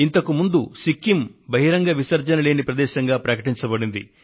ఇంతకు ముందు సిక్కిం ఆరుబయలు మల మూత్ర విసర్జన రహిత ప్రదేశంగా ప్రకటించబడింది